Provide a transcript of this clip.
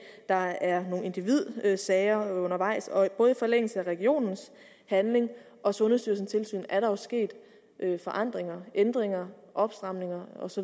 der er nogle individsager undervejs og og i forlængelse af regionens handling og sundhedsstyrelsens tilsyn er der sket forandringer ændringer opstramninger osv